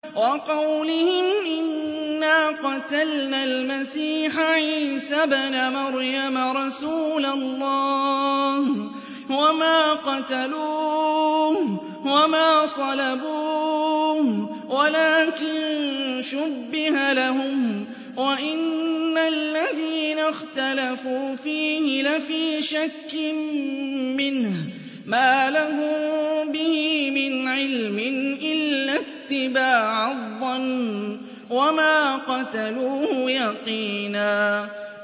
وَقَوْلِهِمْ إِنَّا قَتَلْنَا الْمَسِيحَ عِيسَى ابْنَ مَرْيَمَ رَسُولَ اللَّهِ وَمَا قَتَلُوهُ وَمَا صَلَبُوهُ وَلَٰكِن شُبِّهَ لَهُمْ ۚ وَإِنَّ الَّذِينَ اخْتَلَفُوا فِيهِ لَفِي شَكٍّ مِّنْهُ ۚ مَا لَهُم بِهِ مِنْ عِلْمٍ إِلَّا اتِّبَاعَ الظَّنِّ ۚ وَمَا قَتَلُوهُ يَقِينًا